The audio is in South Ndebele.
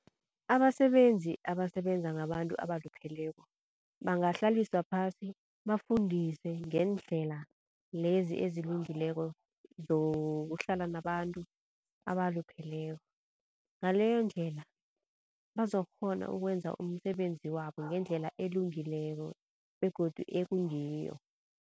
Abasebenzi, abasebenza ngabantu abalupheleko bangahlaliswa phasi bafundiswe ngeendlela lezi ezilungileko zokuhlala nabantu abalupheleko. Ngaleyondlela bazokukghona ukwenza umsebenzi wabo ngendlela elungileko begodu ekungiyo.